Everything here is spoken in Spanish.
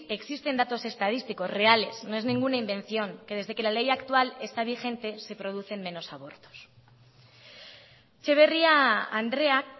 existen datos estadísticos reales no es ninguna invención que desde que la ley actual está vigente se producen menos abortos etxeberria andreak